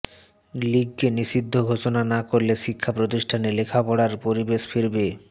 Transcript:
লীগকে নিষিদ্ধ ঘোষণা না করলে শিক্ষা প্রতিষ্ঠানে লেখাপড়ার পরিবেশ ফিরবে